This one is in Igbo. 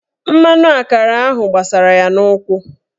Mmanụ akara ahụ gbasara ya n'ụkwụ.